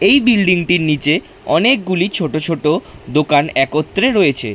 এই বিল্ডিং টির নিচে অনেকগুলি ছোট ছোট দোকান একত্রে রয়েছে।